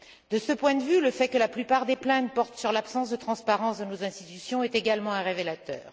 De ce point de vue, le fait que la plupart des plaintes portent sur l'absence de transparence de nos institutions est également révélateur.